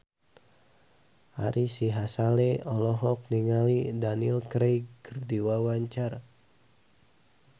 Ari Sihasale olohok ningali Daniel Craig keur diwawancara